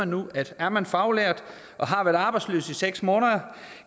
nu at er man faglært og har været arbejdsløs i seks måneder